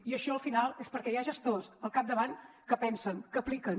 i això al final és perquè hi ha gestors al capdavant que pensen que apliquen